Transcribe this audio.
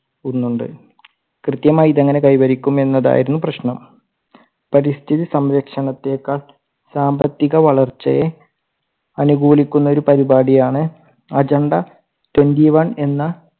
ഒന്നുണ്ട് കൃത്യമായി ഇതെങ്ങനെ കൈവരിക്കും എന്നതായിരുന്നു പ്രശ്നം. പരിസ്ഥിതി സംരക്ഷണത്തെക്കാൾ സാമ്പത്തിക വളർച്ചയെ അനുകൂലിക്കുന്ന ഒരു പരുപാടി ആണ് agenda twenty one എന്ന